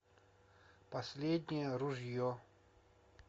последнее ружье